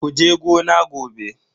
Kuje gona gobe.